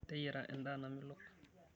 Teyiara endaa namelok.